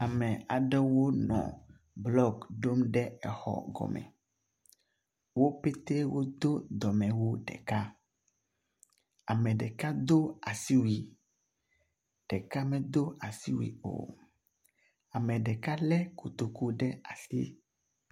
Ame aɖewo nɔ blɔki ɖom ɖe exɔ gɔme. Wo petɛ wodo domewu ɖeka. Ame ɖeka do asiwui, ɖeka medo asiwui o. Ame ɖeka lé kotoku ɖe asi.